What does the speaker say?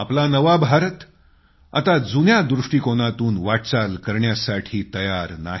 आपला नवा भारत आता जुन्या दृष्टिकोनातून वाटचाल करण्यासाठी तयार नाही